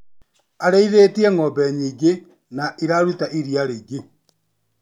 Arĩithĩtie ngombe nyingĩ na iraruta iria rĩingĩ.